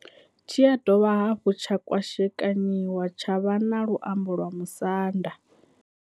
Tshi ya dovha hafhu tsha kwashekanyiwa tsha vha na luambo lwa Musanda.